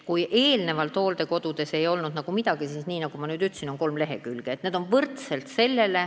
Kui eelnevalt ei olnud hooldekodudes nagu midagi, siis nagu ma ütlesin, on nüüd kolmel leheküljel tabel.